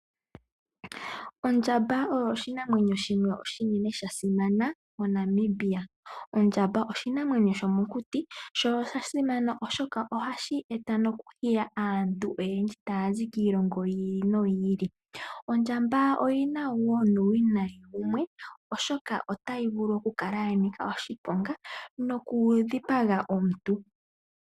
Ombaanga oshinima oshinene shasimana moNamibia. Ondjamba oshinamwenyo shomokuti . Oshinamwenyo shika oshasimana molwaashoka ohashi hili aazayizayi. Kakele kwaashono ondjamba oyanika oshiponga molwaashoka ohayi dhipaga aantu.